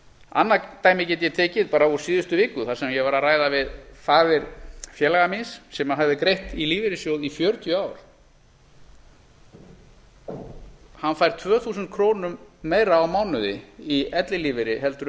annað dæmi get ég tekið bara úr síðustu viku þar sem ég var að ræða við föður félaga míns sem hafði greitt í lífeyrissjóð í fjörutíu ár hann fær tvö þúsund krónum meira á mánuði í ellilífeyri en